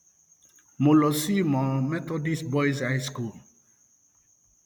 mo lọ sí ìmọ methodist boys high school